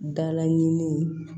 Dala ɲini